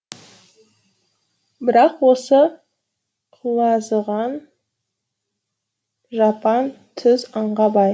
бірақ осы құлазыған жапан түз аңға бай